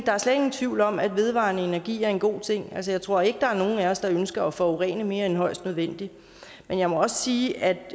er slet ingen tvivl om at vedvarende energi er en god ting altså jeg tror ikke der er nogen af os der ønsker at forurene mere end højst nødvendigt men jeg må også sige at